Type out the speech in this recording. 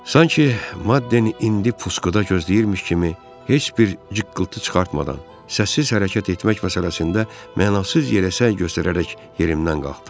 Sanki Madden indi puskuda gözləyirmiş kimi heç bir cıqqıltı çıxartmadan sənssiz hərəkət etmək məsələsində mənasız yerə səy göstərərək yerimdən qalxdım.